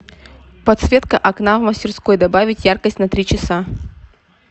подсветка окна в мастерской добавить яркость на три часа